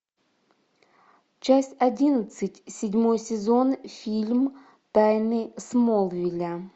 часть одиннадцать седьмой сезон фильм тайны смолвиля